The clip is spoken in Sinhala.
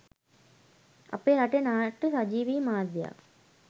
අපේ රටේ නාට්‍ය සජීවී මාධ්‍යයක්